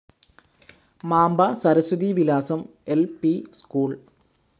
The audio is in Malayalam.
Mamba Saraswathi Vilasam L P school